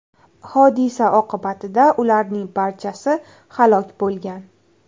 Hodisa oqibatida ularning barchasi halok bo‘lgan.